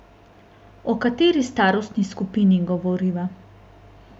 O kateri starostni skupini govoriva?